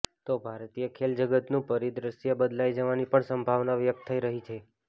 તો ભારતીય ખેલ જગતનું પરિદ્રશ્ય બદલાઈ જવાની પણ સંભાવના વ્યક્ત થઈ રહી છે